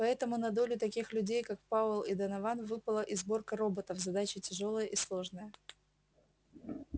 поэтому на долю таких людей как пауэлл и донован выпадала и сборка роботов задача тяжёлая и сложная